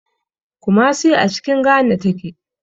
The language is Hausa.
Kumasi a cikin Ghana take.